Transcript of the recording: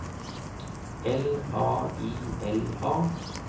L A I L A